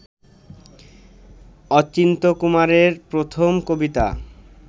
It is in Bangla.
অচিন্ত্যকুমারের প্রথম কবিতা